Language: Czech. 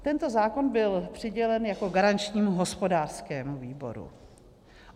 Tento zákon byl přidělen jako garančnímu hospodářskému výboru.